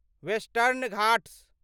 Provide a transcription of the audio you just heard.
western Ghats